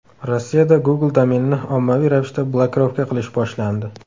Rossiyada Google domenini ommaviy ravishda blokirovka qilish boshlandi.